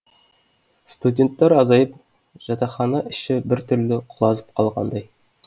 студенттер азайып жатақхана іші біртүрлі құлазып қалғандай